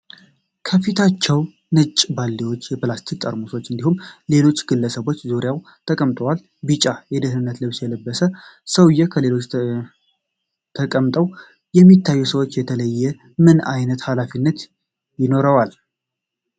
ከፊታቸው ነጭ ባልዲዎችና የፕላስቲክ ጠርሙሶች እንዲሁም ሌሎች ግለሰቦች ዙሪያቸውን ተቀምጠዋል። ቢጫ የደህንነት ልብስ የለበሰው ሰውዬ ከሌሎቹ ተቀምጠው ከሚታዩት ሰዎች የተለየ ምን ዓይነት ኃላፊነት ይኖረዋል?